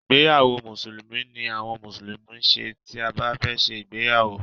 ìgbéyàwó mùsùlùmí ni àwọn mùsùlùmí ń ṣe tí bá fẹ́ ṣe igbéyàwó.